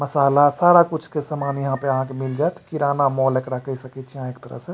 मसाला सारा कुछ के सामान यहाँ पे आ के मिल जाएत किराना मॉल एकरा कह सकै छे यहाँ एकरा एक तरह से।